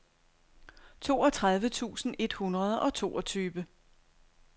toogtredive tusind et hundrede og toogtyve